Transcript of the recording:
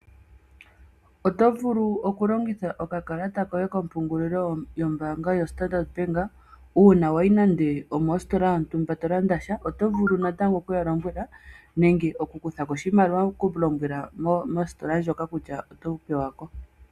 Oto vulu oku longitha okakalata koye kompungulilo yombaanga yo Standard bank, uuna wayi nande omostola yontumba to landa sha, oto vulu okuya lombwela nenge okukuthako oshimaliwa ku lombwela mostola ndjoka kutya oto pewako.